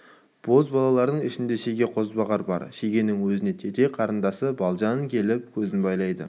бозбалалардың ішінде шеге қозбағар бар шегенің өзіне тете қарындасы балжан келіп көзін байлады қара